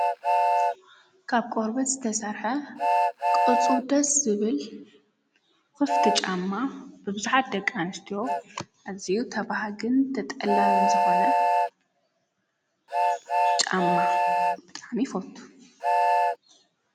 ካብ ቆርበት ዝተሠርሐ ቕርፁ ደስ ዝብል ዂፍቲ ጫማ ብብዙኃት ደቃ አንስትዮ እዚኡ ተብሃግን ተጠላብን ዝኾነ ጫማ ብጣም ይፈቶ፡፡